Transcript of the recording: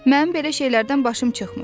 Mən belə şeylərdən başım çıxmır.